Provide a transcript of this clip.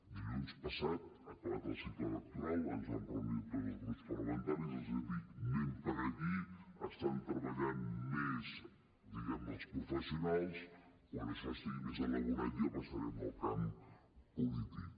dilluns passat acabat el cicle electoral ens vam reunir tots els grups parlamentaris i els vaig dir anem per aquí hi estan treballant més diguem ne els professionals quan això estigui més elaborat ja passarem al camp polític